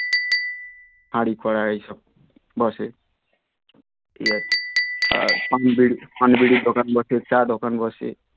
হাঁড়ি কড়াই এইসব বসে আর পান বিড়ি পান বিড়ির দোকান বসে চা দোকান বসে